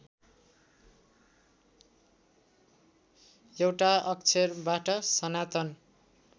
एउटा अक्षरबाट सनातन